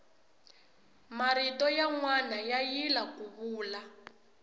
marito yanwani ya yila kuya vula